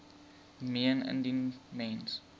meen indien mens